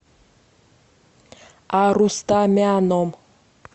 арустамяном